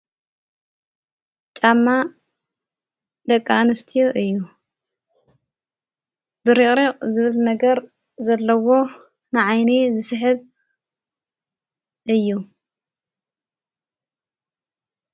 ጣማ ለቃንስትዮ እዩ ብሪቕሪቕ ዝብት ነገር ዘለዎ ንዓይኒ ዝስሕብ እዩ።